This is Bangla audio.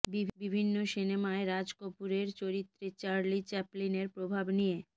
বিভিন্ন সিনেমায় রাজ কপূরের চরিত্রে চার্লি চ্যাপলিনের প্রভাব নিয়ে